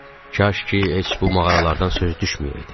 Kaş ki, heç bu mağaralardan söz düşməyəydi.